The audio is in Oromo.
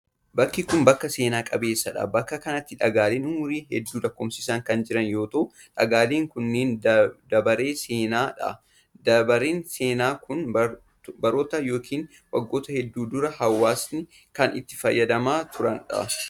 Bakki kun, bakka seena qabeessa dha. Bakka kanatti dhagaaleen umurii hedduu lakkoofsisan kan jiran yoo ta'u, dhagaaleen kunneen dabaree seenaa dha. Dabareen seenaa kun, baroota yokin waggoota hedduun dura hawaasni kan itti fayyadamaa turee dha.